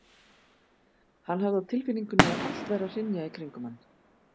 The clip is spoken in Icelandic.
Hann hafði á tilfinningunni að allt væri að hrynja í kringum hann.